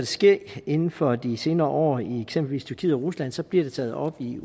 ske inden for de senere år i eksempelvis tyrkiet og rusland så bliver det taget op i